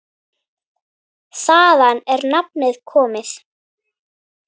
Þaðan er nafnið komið.